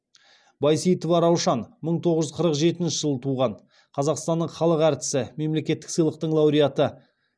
байсейітова раушан мың тоғыз жүз қырық жетінші жылы туған қазақстанның халық әртісі мемлекеттік сыйлықтың лауреаты